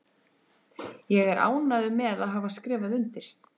Ég er ánægður með að hafa skrifað undir.